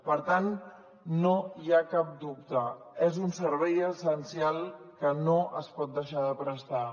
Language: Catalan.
per tant no hi ha cap dubte és un servei essencial que no es pot deixar de prestar